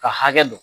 Ka hakɛ dɔn